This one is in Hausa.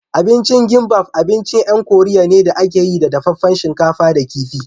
Abincin gimbaf abincin 'yan koriya ne da a ke yi da dafaffen shinkafa da kifi